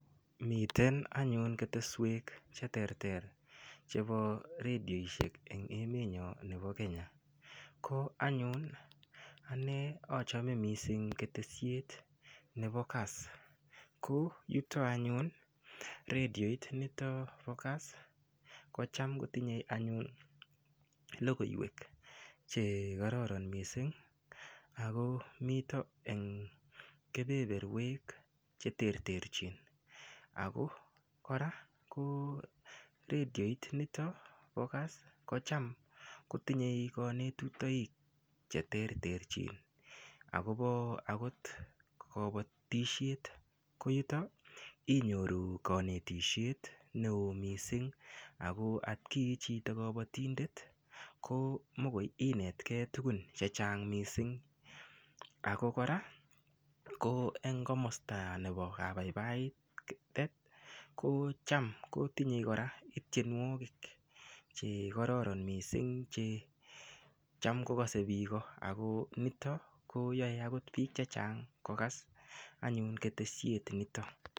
Miten anyun keteswek cheterter chebo redioshek eng' emenyo nebo Kenya ko anyun ane achome mising' ketesiet nebo kass ko yuto anyun rediot nito bo kass ko cham kotinyei anyun lokoiwek chekororon mising' ako mito eng' kebeberwek cheterterchin ako kora redioit nito bo kass kocham kotinyei kanetutoik cheterterchin akobo akot kabotishet ko yuto inyoru kanetishet ne oo mising' ako atkii chito kabotindet ko mikoi inetkei tukun chechang' mising' ako kora ko eng' komosta nebo kabaibaitet ko cham kotinyei kora ityenwokik che kororon mising' che cham kokosei biko ako nito koyoei akot biik chechang' kokas anyun keteshet nito